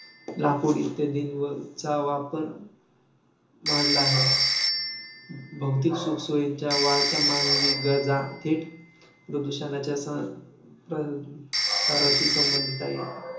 लाकूड इत्यादींवरचा वापर वाढला आहे. भौतिक सुखसुविधाच्या वाढत्या मानवी गरजा थेट प्रदूषणाच्या ससाराशी संबंधित आहेत.